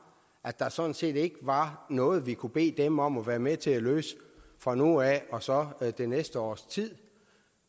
at der sådan set ikke var noget vi kunne bede dem om at være med til at løse fra nu af og så det næste års tid